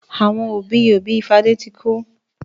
Àwọn òbí-òbí Fadé ti kú